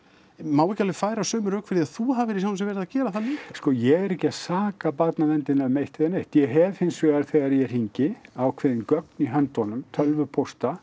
má ekki alveg færa sömu rök fyrir því þú hafir í sjálfu sér verið að gera það líka sko ég er ekki að saka barnaverndina um eitt eða neitt ég hef hins vegar þegar ég hringi ákveðin gögn í höndunum tölvupósta